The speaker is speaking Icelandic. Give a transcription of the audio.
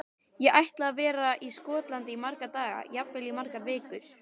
Ég ætla að vera í Skotlandi í marga daga, jafnvel í margar vikur.